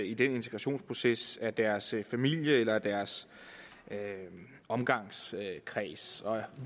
i den integrationsproces af deres familie eller af deres omgangskreds og